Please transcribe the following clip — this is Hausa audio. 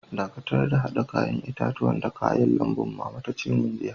Dakatar da hada yayan itatuwan da kayan lambun, mama ta ce mun jiya.